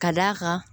Ka d'a kan